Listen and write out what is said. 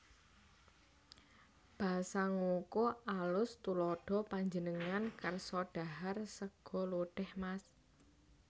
Basa Ngoko AlusTuladha Panjenengan kersa dhahar sega lodèh Mas